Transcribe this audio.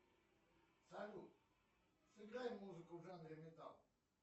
салют сыграй музыку в жанре металл